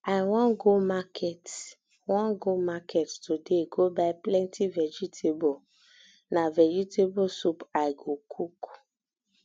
i wan go market wan go market today go buy plenty vegetable na vegetable soup i go cook